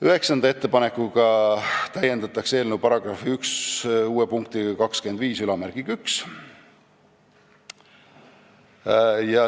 Üheksanda ettepanekuga täiendatakse eelnõu § 1 uue punktiga 251.